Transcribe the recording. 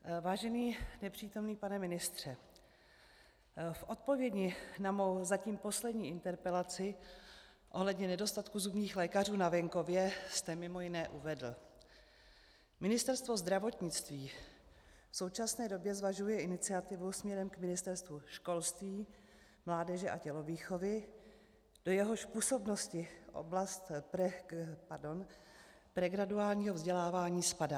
Vážený nepřítomný pane ministře, v odpovědi na mou zatím poslední interpelaci ohledně nedostatku zubních lékařů na venkově jste mimo jiné uvedl: "Ministerstvo zdravotnictví v současné době zvažuje iniciativu směrem k Ministerstvu školství, mládeže a tělovýchovy, do jehož působnosti oblast pregraduálního vzdělávání spadá.